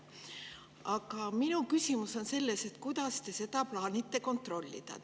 Aga minu küsimus on selles, et kuidas te seda plaanite kontrollida.